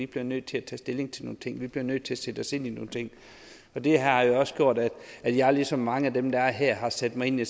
bliver nødt til at tage stilling til nogle ting vi bliver nødt til at sætte os ind i nogle ting det har jo også gjort at jeg ligesom mange af dem der er her har sat mig ind i